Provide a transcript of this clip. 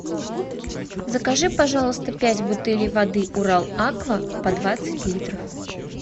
закажи пожалуйста пять бутылей воды урал аква по двадцать литров